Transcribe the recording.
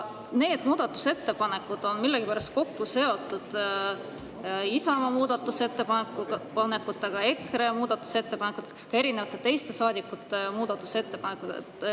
Need ettepanekud on millegipärast kokku seotud Isamaa muudatusettepanekutega, EKRE muudatusettepanekutega ja ka teiste saadikute muudatusettepanekutega.